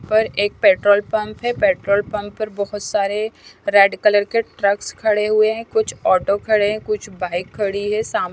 पर एक petrol pump है पेट्रोल पंप पर बहुत सारे रेड कलर के ट्रक्स खड़े हुए हैं कुछ ऑटो खड़े हैं कुछ बाइक खड़ी है सामने--